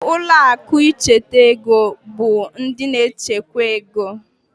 Ụlọ akụ nchekwa ego bụ ndị na-echekwa ego.